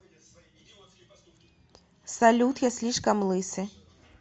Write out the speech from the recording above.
салют я слишком лысый